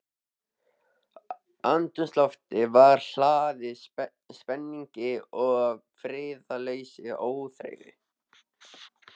Andrúmsloftið var hlaðið spenningi- og friðlausri óþreyju.